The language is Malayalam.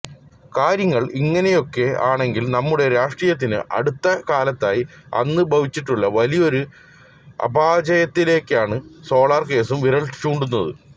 കാര്യങ്ങള് ഇങ്ങനെയൊക്കെ ആണെങ്കിലും നമ്മുടെ രാഷ്ട്രീയത്തിന് അടുത്ത കാലത്തായി വന്ന് ഭവിച്ചിട്ടുള്ള വലിയൊരു അപചയത്തിലേക്കാണ് സോളാര് കേസും വിരല് ചൂണ്ടുന്നത്